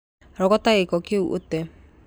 Rogota gĩko kĩ u ũtee